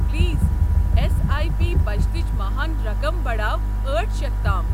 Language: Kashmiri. پلیٖز ایس آیۍ پی بچتٕچ ماہان رقم پڑاو ٲٹھ شؠتھ تام۔